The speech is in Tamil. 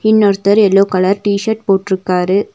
இன்னொருத்தர் எல்லோ கலர் டி_சர்ட் போட்ருக்காரு.